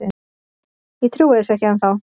Ég trúi þessu ekki ennþá.